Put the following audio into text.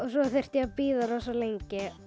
svo þurfti ég að bíða rosa lengi